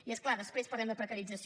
i és clar després parlem de precarització